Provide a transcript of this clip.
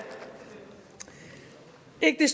ikke